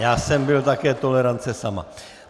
Já jsem byl také tolerance sama.